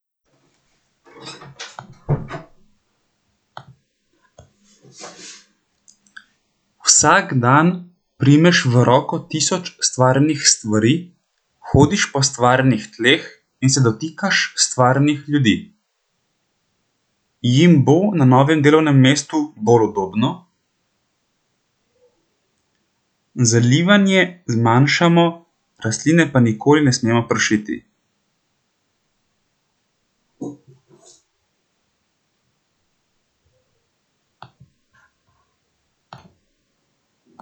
Jim bo na novem delovnem mestu bolj udobno?